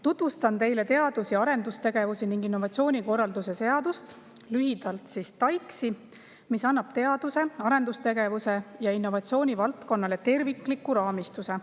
Tutvustan teile teadus‑ ja arendustegevuse ning innovatsiooni korralduse seadust, lühidalt TAIKS‑i, mis annab teaduse, arendustegevuse ja innovatsiooni valdkonnale tervikliku raamistuse.